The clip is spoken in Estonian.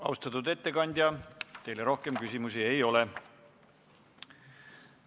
Austatud ettekandja, teile küsimusi ei ole.